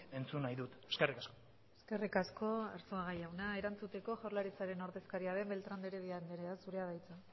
entzun nahi dut eskerrik asko eskerrik asko arzuaga jauna erantzuteko jaurlaritzaren ordezkaria den beltrán de heredia andrea zurea da hitza